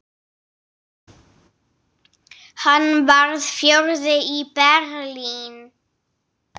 Hann varð fjórði í Berlín.